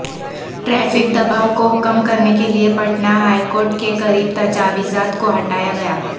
traffic دبائو کو کم کرنے کیلئے پٹنہ ہائی کورٹ کے قریب تجاوزات کو ہٹایاگیا